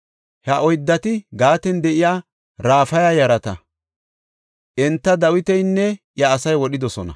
Ha oyddati Gaaten de7iya Raafa yarata. Enta Dawitinne iya asay wodhidosona.